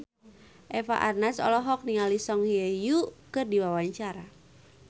Eva Arnaz olohok ningali Song Hye Kyo keur diwawancara